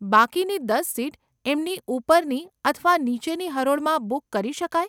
બાકીની દસ સીટ એમની ઉપરની અથવા નીચેની હરોળમાં બુક કરી શકાય.